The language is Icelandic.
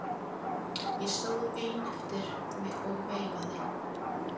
Ég stóð einn eftir og veifaði.